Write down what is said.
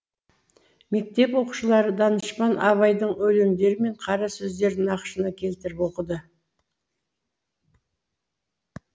мектеп оқушылары данышпан абайдың өлеңдері мен қара сөздерін нақышына келтіріп оқыды